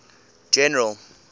general